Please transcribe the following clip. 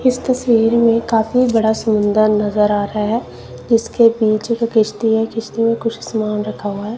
इस तस्वीर में काफी बड़ा सुंदर नजर आ रहा है इसके पीछे किस्ती है किस्ती में कुछ सामान रखा हुआ--